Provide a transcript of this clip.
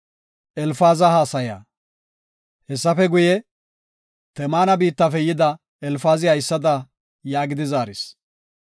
Hessafe guye, Temaana biittafe yida Elfaazi haysada yaagidi zaaris;